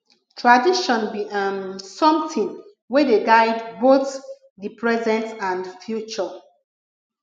tradition bi um somtin wey dey guide both di present and future